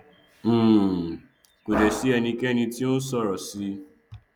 um kò dẹ sí ẹnikẹni tó nsọrọ síi